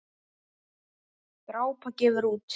Drápa gefur út.